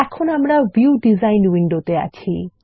এখন আমরা view design উইন্ডোতে আছি